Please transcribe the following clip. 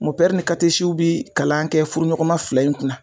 bi kalan kɛ furu ɲɔgɔnma fila in kunna.